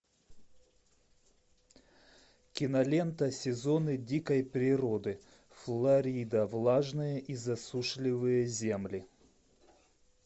кинолента сезоны дикой природы флорида влажные и засушливые земли